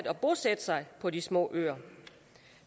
at bosætte sig på de små øer